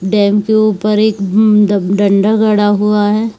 Dam के ऊपर अ म एक दं डंडा गड़ा हुआ है।